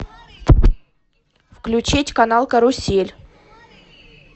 включить канал карусель